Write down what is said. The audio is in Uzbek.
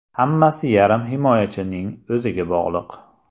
Hammasi yarim himoyachining o‘ziga bog‘liq.